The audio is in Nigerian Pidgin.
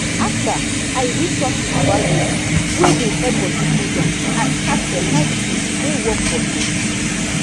after i read something about yoga wey dey help body cool down i start better routine wey work for me.